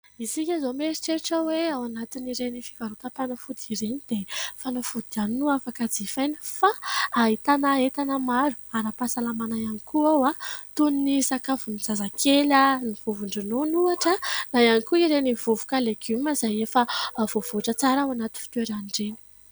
Isika izao mieritreritra hoe ao anatiny ireny fivarotam-panafody ireny dia fanafody ihany no afaka jifaina ; fa ahitana entana maro ara-pahasalamana ihany koa ao toy ny sakafon'ny zazakely, ny vovo-dronono ohatra na ihany koa ireny vovoka legioma izay efa voavoatra tsara ao anaty fitoeran'ireny.